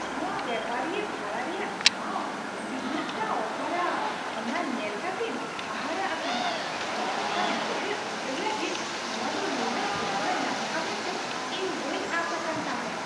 ᱱᱚᱶᱟ ᱵᱮᱯᱟᱨᱤᱭᱟᱹ ᱵᱷᱟᱲᱟ ᱨᱮᱭᱟᱜ ᱴᱷᱟᱶ ᱛᱤᱱᱟᱹᱜ ᱴᱟ ᱚᱥᱟᱨᱟ, ᱚᱱᱟ ᱧᱮᱞ ᱠᱟᱛᱮᱧ ᱦᱟᱦᱟᱲᱟᱜ ᱟᱠᱟᱱᱟ ᱾ ᱢᱤᱫ ᱦᱟᱯᱛᱟ ᱢᱩᱫᱽᱨᱮ ᱩᱪᱟᱹᱲ ᱞᱟᱹᱜᱤᱫ ᱱᱚᱶᱟ ᱫᱚ ᱱᱩᱱᱟᱹᱜ ᱩᱥᱟᱹᱨᱟ ᱧᱟᱢᱚᱜᱼᱟ ᱢᱮᱱᱛᱮ ᱤᱧ ᱵᱟᱹᱧ ᱟᱸᱥ ᱟᱠᱟᱱ ᱛᱟᱦᱮᱸ !